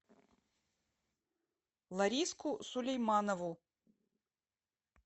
лариску сулейманову